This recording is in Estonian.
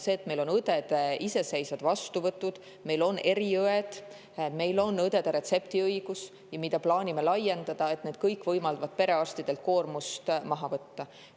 See, et meil on õdede iseseisvad vastuvõtud, meil on eriõed, meil on õdedel retseptiõigus, mida plaanime laiendada, kõik võimaldab perearstidelt koormust maha võtta.